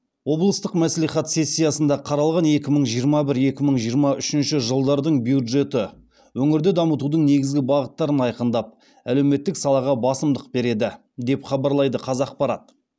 облыстық мәслихат сессиясында қаралған екі мың жиырма бір екі мың жиырма үшінші жылдардың бюджеті өңірді дамытудың негізгі бағыттарын айқындап әлеуметтік салаға басымдық береді деп хабарлайды қазақпарат